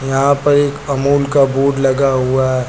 यहां पर एक अमूल का बोर्ड लगा हुआ--